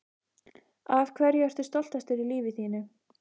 Af hverju ertu stoltastur í lífi þínu?